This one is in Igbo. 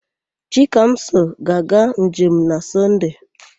Chikamso ga-aga njem na Sọnde.